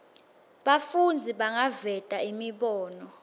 bafundzi bangaveta imibono